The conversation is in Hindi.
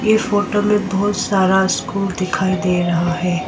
इ फोटो में बहुत सारा स्कूल दिखाई दे रहा है।